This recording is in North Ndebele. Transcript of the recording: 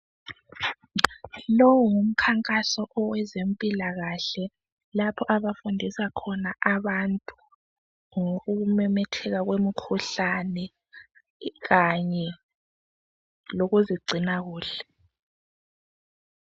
Lowu ngumkhankaso owezempilakahle lapho abafundisa khona abantu ngokumemetheka kwemikhuhlane kanye lokuzigcina kuhle.